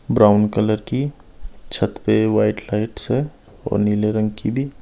brown colour की छत पे वाइट लाइट्स है और नीले रंग की भी --